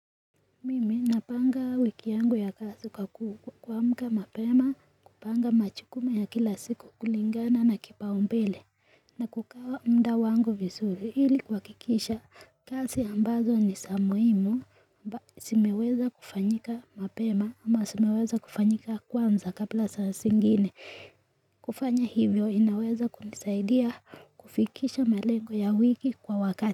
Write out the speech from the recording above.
Mimi napanga wiki yangu ya kasi kwa kuamka mapema kupanga machukumu ya kila siku kulingana na kipaumbele na kukawa mda wangu visuri hili kuhakikisha kasi ambazo ni samuimu mba simeweza kufanyika mapema ama simeweza kufanyika kwanza kabla sasa singine kufanya hivyo inaweza kunosaidia kufikisha melengo ya wiki kwa wakati.